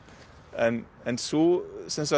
en en sú